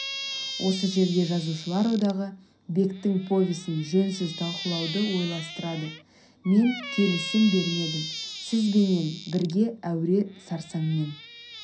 осы жерде жазушылар одағы бектің повесін жөнсіз талқылауды ойластырады мен келісім бермедім сізбенен бірге әуре сарсаңмен